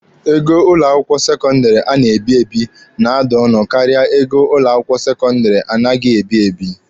Ego ụlọ akwụkwọ sekọndịrị a na-ebi ebi na-ada ọnụ karịa ego ụlọ akwụkwọ sekọndịrị anaghị ebi ebi.